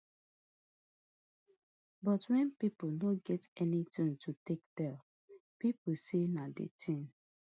but wen pipo no get anytin to take tell pipo say na di tin